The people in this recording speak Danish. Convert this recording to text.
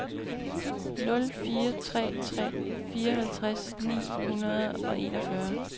nul fire tre tre fireoghalvtreds ni hundrede og enogfyrre